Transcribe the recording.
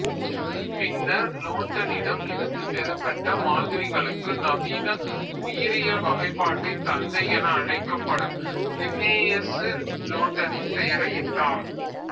பின்னர் லோட்டனிடம் இருந்து பெறப்பட்ட மாதிரிகளுக்கு நவீன உயிரியல் வகைப்பாட்டின் தந்தை என அழைக்கப்படும் லின்னேயசு லோட்டனின் பெயரை இட்டார்